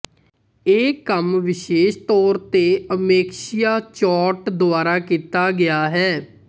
ਇਹ ਕੰਮ ਵਿਸ਼ੇਸ਼ ਤੌਰ ਤੇ ਅਮੇਕਸ਼ੀਆ ਚੌਰਟ ਦੁਆਰਾ ਕੀਤਾ ਗਿਆ ਹੈ